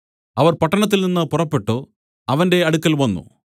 അവർ പട്ടണത്തിൽനിന്നു പുറപ്പെട്ടു അവന്റെ അടുക്കൽ വന്നു